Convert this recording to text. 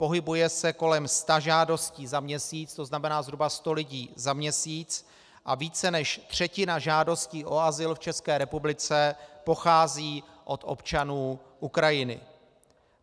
Pohybuje se kolem sta žádostí za měsíc, to znamená zhruba sto lidí za měsíc, a více než třetina žádostí o azyl v České republice pochází od občanů Ukrajiny.